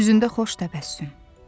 Üzündə xoş təbəssüm.